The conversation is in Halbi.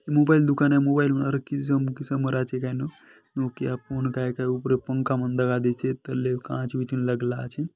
मोबाइल दुकान हे मोबाइल